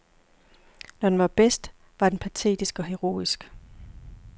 Når den var bedst, var den patetisk og heroisk.